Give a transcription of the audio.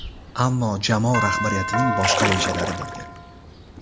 Ammo jamoa rahbariyatining boshqa rejalari bo‘lgan.